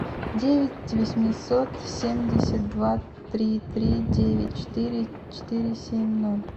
девять восемьсот семьдесят два три три девять четыре четыре семь ноль